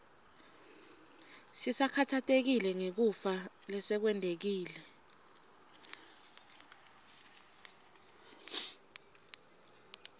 sisakhatsatekile ngekufa lesekwentekile